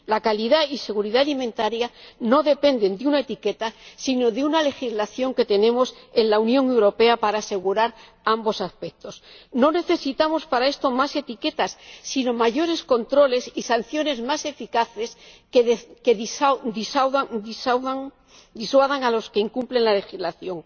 La calidad y seguridad alimentarias no dependen de una etiqueta, sino de una legislación que tenemos en la Unión Europea para asegurar ambos aspectos. No necesitamos para esto más etiquetas, sino mayores controles y sanciones más eficaces que disuadan a los que incumplen la legislación.